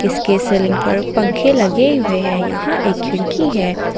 इसके सीलिंग पर पंखे लगे हुए हैं यहां एक खिड़की है।